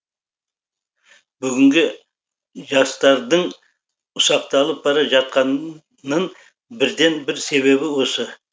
бүгінгі жастардың ұсақталып бара жатқанын бірден бір себебі осы